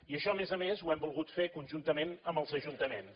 i això a més a més ho hem volgut fer conjuntament amb els ajuntaments